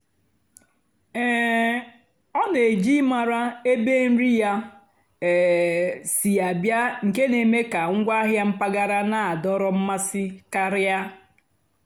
um ọ́ nà-èjì ị́márá ébé nrì yá um sí àbịá nkè nà-èmékà ngwáàhịá mpàgàrà nà-àdọ́rọ́ mmásị́ kàrị́á.